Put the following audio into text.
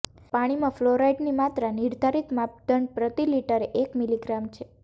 પાણીમાં ફ્લોરાઇડની માત્રા નિર્ધારિત માપદંડ પ્રતિ લિટરે એક મિલિગ્રામ છે